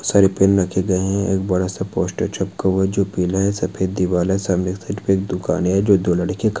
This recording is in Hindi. सारे पेन रखे गए हैं एक बड़ा सा पोस्टर चिपका हुआ है जो पीला है सफ़ेद दीवाल सामने की साइट पे एक दुकान है जो दो लड़के ख --